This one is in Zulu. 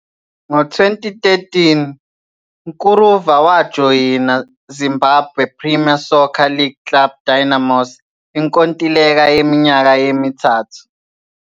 Ngo-2013, Mkuruva wajoyina Zimbabwe-Premier Soccer League club Dynamos inkontileka yeminyaka emithathu.